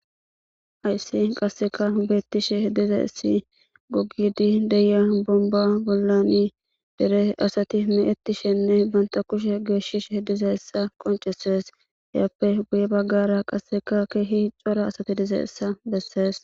hayssi qasseka beettishe diza issi gogidi deya bomba bollani dere asati me7ettishenne banta kushe geeshishe diza essa qoncesees yaappe guye baggara qasseka keehi cora asati diza essa bessees